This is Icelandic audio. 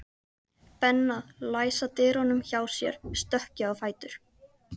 Benna læsa dyrunum hjá sér stökk ég á fætur.